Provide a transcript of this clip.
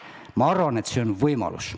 Ma arvan, et see on võimalus.